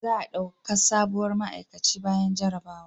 Za a dauka sabuwar ma'aikaci bayan jarabawa